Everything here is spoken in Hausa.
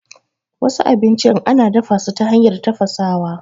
Wasu abincin ana dafasu ta hanyar tafasawa.